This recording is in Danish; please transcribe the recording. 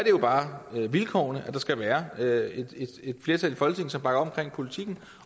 jo bare et vilkår at der skal være et flertal i folketinget som bakker op om politikken